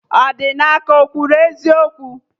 Odinaka ekwuru eziokwu?